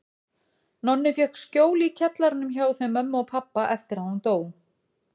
Nonni fékk skjól í kjallaranum hjá þeim mömmu og pabba eftir að hún dó.